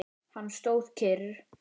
Hann stóð kyrr.